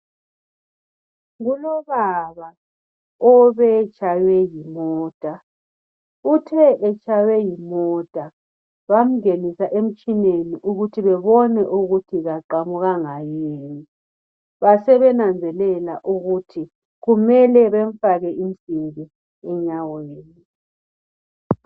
kulobaba obe etshaywe yimota uthe etshaywe yimota bangenisa emtshineni ukuthi babone ukuthi kaqamukanga yini basebenanzelela ukuthi kumele bemfake insimbi enyaweni